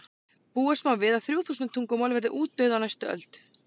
búast má við að þrjú þúsund tungumál verði útdauð á næstu öld